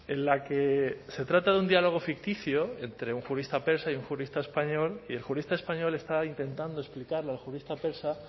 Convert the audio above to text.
en la que se trata de un diálogo ficticio entre un jurista persa y un jurista español y el jurista español está intentando explicarle al jurista persa